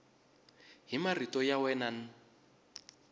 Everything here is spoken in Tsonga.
hi marito ya wena n